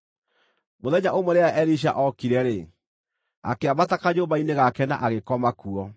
Mũthenya ũmwe rĩrĩa Elisha ookire-rĩ, akĩambata kanyũmba-inĩ gake na agĩkoma kuo.